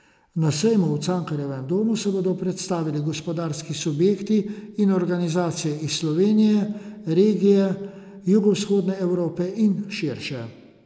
Na sejmu v Cankarjevem domu se bodo predstavili gospodarski subjekti in organizacije iz Slovenije, regije Jugovzhodne Evrope in širše.